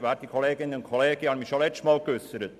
Ich habe mich schon letztes Mal geäussert.